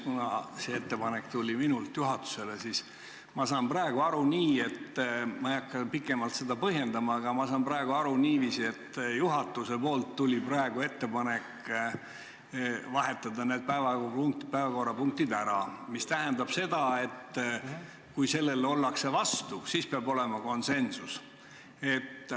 Kuna see ettepanek tuli minult juhatusele, siis ma saan aru nii – ma ei hakka seda pikemalt põhjendama, aga ma saan praegu niiviisi aru –, et juhatuselt tuli praegu ettepanek vahetada need päevakorrapunktid ära, mis tähendab seda, et kui sellele ollakse vastu, siis peab olema konsensus.